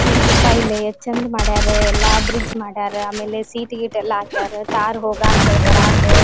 ಮೂರು ರೂಪಾಯಿ ಇಲ್ಲಿ ಯೆಸ್ಟ್ ಚಂದ್ ಮಾಡರ ಎಲ್ಲ ಬ್ರಿಜ್ ಮಾಡಾರ ಆಮೇಲೆ ಸೀಟ್ ಗೀಟ್ ಎಲ್ಲ ಹಾಕಾರ ಕಾರ್ ಹೋಗಕ್ಕೆ ಬರಕ್ಕೆ--